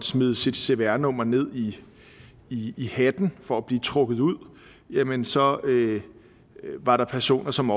smide sit cpr nummer ned i i hatten for at blive trukket ud jamen så var der personer som